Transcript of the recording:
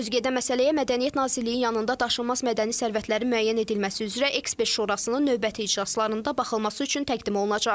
Sözügedən məsələyə Mədəniyyət Nazirliyi yanında Daşınmaz Mədəni Sərvətlərin Müəyyən Edilməsi üzrə Ekspert Şurasının növbəti iclaslarında baxılması üçün təqdim olunacaq.